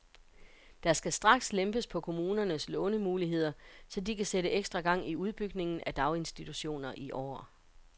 Der skal straks lempes på kommunernes lånemuligheder, så de kan sætte ekstra gang i udbygningen af daginstititutioner i år.